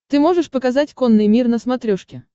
ты можешь показать конный мир на смотрешке